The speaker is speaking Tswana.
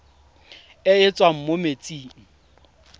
e e tswang mo metsing